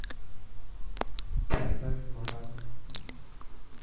поставь марат